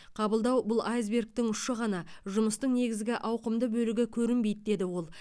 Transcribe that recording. қабылдау бұл айсбергтің ұшы ғана жұмыстың негізгі ауқымды бөлігі көрінбейді деді ол